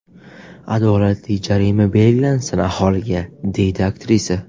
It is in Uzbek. Adolatli jarima belgilansin aholiga”, deydi aktrisa.